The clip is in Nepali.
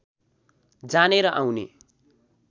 जाने र आउने